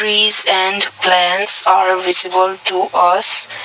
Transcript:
trees and plants are visible to us.